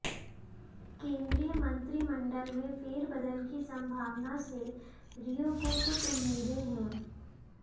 केंद्रीय मंत्रिमंडल में फेरबदल की संभावना से रियो को कुछ उम्मीदें हैं